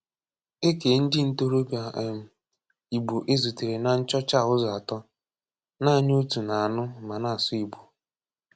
É kéé ndị ntòròbíà um Ìgbò e zùtèrè n’ nchọ́chá a ụzọ atọ̀: nāánị́ òtù na-anụ́ ma na-asụ̀ Ìgbò.